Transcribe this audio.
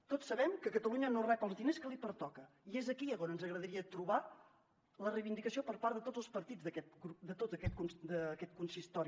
tots sabem que catalunya no rep els diners que li pertoquen i és aquí on ens agradaria trobar la reivindicació per part de tots els partits de tot aquest consistori